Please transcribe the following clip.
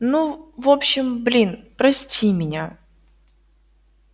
ну в общем блин прости меня